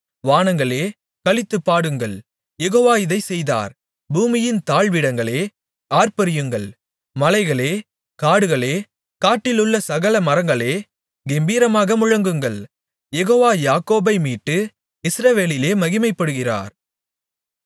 வானங்களே களித்துப் பாடுங்கள் யெகோவா இதைச் செய்தார் பூமியின் தாழ்விடங்களே ஆர்ப்பரியுங்கள் மலைகளே காடுகளே காட்டிலுள்ள சகல மரங்களே கெம்பீரமாக முழங்குங்கள் யெகோவா யாக்கோபைமீட்டு இஸ்ரவேலிலே மகிமைப்படுகிறார்